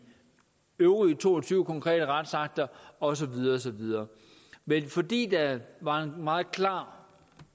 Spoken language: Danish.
øvrige to og tyve konkrete retsakter og så videre og så videre men fordi der var en meget klar